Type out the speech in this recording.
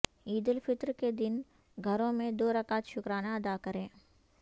عید الفطر کے دن گھروں میں دو رکعت شکرانہ ادا کریں